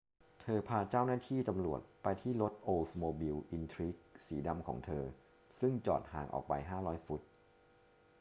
เธอพาเจ้าหน้าที่ตำรวจไปที่รถโอลด์สโมบิล อินทริก สีดำของเธอซึ่งจอดห่างออกไป 500 ฟุต